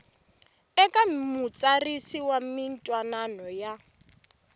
eka mutsarisi wa mintwanano ya